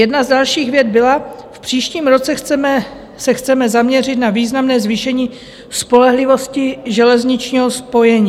Jedna z dalších vět byla: V příštím roce se chceme zaměřit na významné zvýšení spolehlivosti železničního spojení.